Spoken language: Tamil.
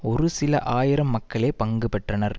ஒரு சில ஆயிரம் மக்களே பங்கு பெற்றனர்